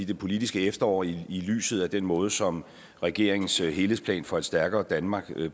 det politiske efterår i lyset af den måde som regeringens helhedsplan for et stærkere danmark blev